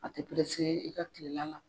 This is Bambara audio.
A te i ka kilela la.